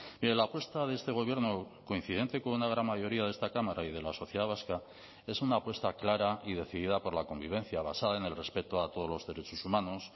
mire la apuesta de este gobierno coincidente con una gran mayoría de esta cámara y de la sociedad vasca es una apuesta clara y decidida por la convivencia basada en el respeto a todos los derechos humanos